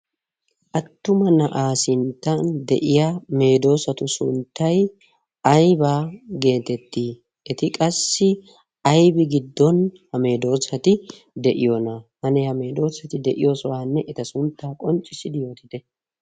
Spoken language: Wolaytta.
attuma na7aa sinttan de'iya meedoosatu sunttai aibaa geetettii eti qassi aibi giddon ha meedoosati de7iyoona hane ha meedoosati de7iyoosohaanne eta sunttaa qonccissidi yootite